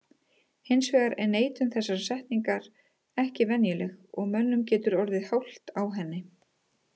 Hins vegar er neitun þessarar setningar ekki venjuleg og mönnum getur orðið hált á henni.